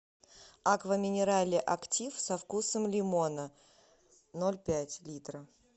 аква минерале актив со вкусом лимона ноль пять литра